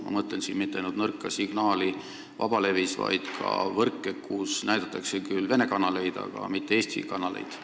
Ma ei mõtle siin mitte ainult nõrka signaali vabalevis, vaid ka võrke, kus näidatakse küll ka Venemaa kanaleid, aga mitte eestikeelseid kanaleid.